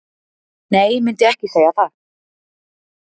Nei myndi ekki segja það.